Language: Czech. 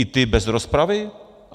I ty bez rozpravy?